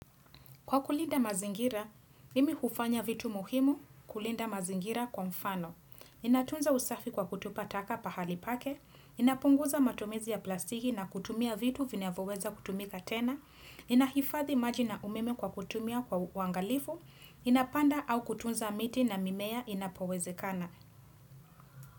Kwa kulinda mazingira, mimi hufanya vitu muhimu kulinda mazingira kwa mfano. Inatunza usafi kwa kutupa taka pahali pake, inapunguza matumizi ya plastiki na kutumia vitu vina voweza kutumika tena, inahifathi maji na umeme kwa kutumia kwa uangalifu, ninapanda au kutunza miti na mimea inapoweze kana.